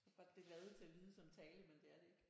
Tror bare det lavet til at lyde som tale men det er det ikke